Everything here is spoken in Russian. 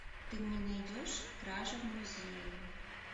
ты мне найдешь кража в музее